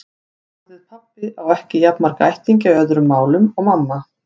Orðið pabbi á ekki jafn marga ættingja í öðrum málum og mamma.